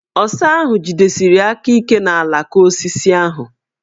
Ọsa ahụ jidesiri aka ike n' alaka osisi ahụ.